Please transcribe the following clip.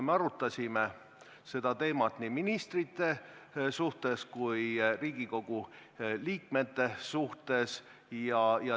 Me arutasime nii ministrite kui ka Riigikogu liikmete keelekasutust.